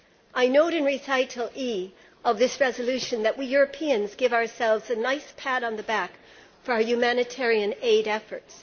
I note in recital E of this resolution that we Europeans give ourselves a nice pat on the back for our humanitarian aid efforts.